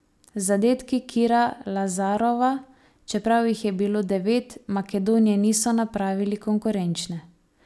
Zadetki Kira Lazarova, čeprav jih je bilo devet, Makedonije niso napravili konkurenčne.